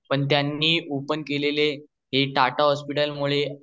पण त्यांनी ओपेन केलेले हे टाटा हॉस्पिटल मुळे